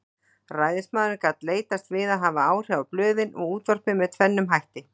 Ræðismaðurinn gat leitast við að hafa áhrif á blöðin og útvarpið með tvennum hætti.